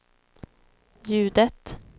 ljudet